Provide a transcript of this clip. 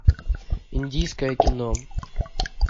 индийское кино